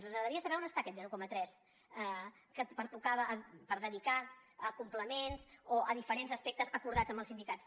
ens agradaria saber on està aquest zero coma tres que pertocava per dedicar a complements o a diferents aspectes acordats amb els sindicats